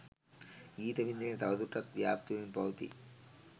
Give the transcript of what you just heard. ගීත වින්දනය තව දුරටත් ව්‍යාප්ත වෙමින් පවතී